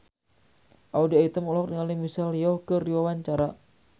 Audy Item olohok ningali Michelle Yeoh keur diwawancara